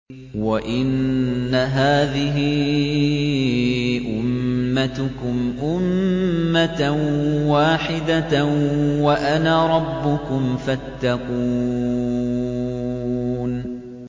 وَإِنَّ هَٰذِهِ أُمَّتُكُمْ أُمَّةً وَاحِدَةً وَأَنَا رَبُّكُمْ فَاتَّقُونِ